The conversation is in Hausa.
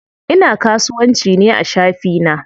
Ina kasuwanci ne a shafi na.